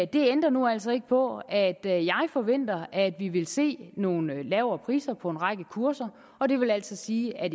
det ændrer altså ikke på at jeg forventer at vi vil se nogle lavere priser på en række kurser og det vil altså sige at